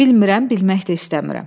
Bilmirəm, bilmək də istəmirəm.